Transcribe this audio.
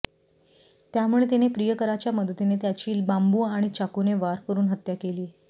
त्यामुळे तिने प्रियकराच्या मदतीने त्यांची बांबू आणि चाकूने वार करुन हत्या केली